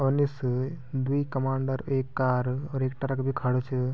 और निस द्वि कमांडर ऐक कार और ऐक ट्रक बि खडू च।